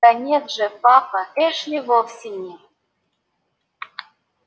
да нет же папа эшли вовсе не